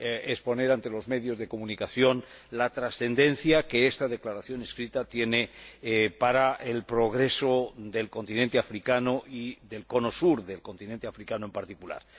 exponer, ante los medios de comunicación, la trascendencia que esta Declaración por escrito tiene para el progreso del continente africano y del cono sur del continente africano en particular.